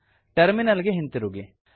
terminal ಗೆ ಹಿಂತಿರುಗಿ